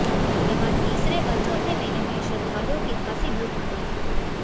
यहां तीसरे व चौथे मेले में श्रद्धालुओं की खासी भीड़ उमड़ेगी